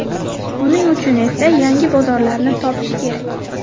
Buning uchun esa yangi bozorlarni topish kerak.